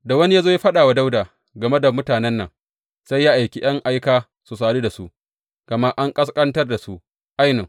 Da wani ya zo ya faɗa wa Dawuda game da mutanen, sai ya aiki ’yan aika su sadu da su, gama an ƙasƙantar da su ainun.